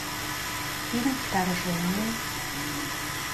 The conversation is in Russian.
фильм вторжение